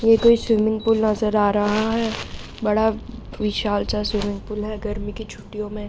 ये कोई swimming pool नजर आ रहा है बड़ा विशाल-सा स्विमिंग पूल है गर्मियों की छुट्टियों में --